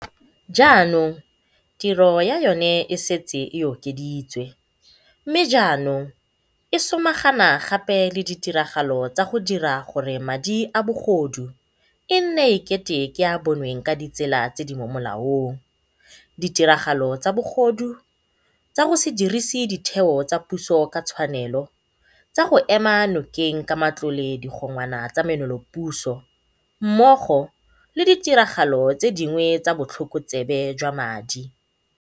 Jaanong tiro ya yona e setse e okeditswe mme jaanong e samagana gape le ditiragalo tsa go dira gore madi a bogodu e nne e kete ke a a bonweng ka ditsela tse di mo molaong, ditiragalo tsa bogodu, tsa go se dirise ditheo tsa puso ka tshwanelo, tsa go ema nokeng ka matlole digongwana tsa menolopuso mmogo le ditiragalo tse dingwe tsa botlhokotsebe jwa madi.